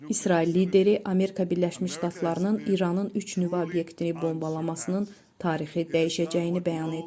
İsrail lideri Amerika Birləşmiş Ştatlarının İranın üç nüvə obyektini bombalamasının tarixi dəyişəcəyini bəyan edib.